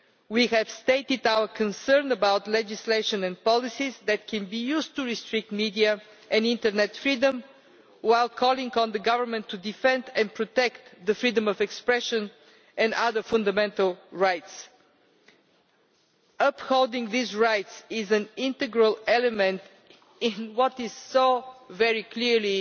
We have stated our concern about legislation and policies that can be used to restrict media and internet freedom, while calling on the government to defend and protect freedom of expression and other fundamental rights. Upholding these rights is an integral part of what is so very clearly